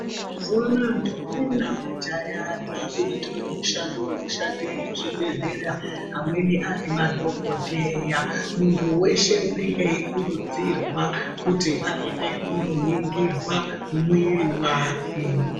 Mazuwa anaya ndombi namajaha dzakuitawo mushando wekushande muzvibhedhlera amweni ari madhokodheya. Muntu weshe unenge eikurudzirwa kuti aende kundoningirwa mwiri wake.